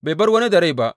Bai bar wani da rai ba.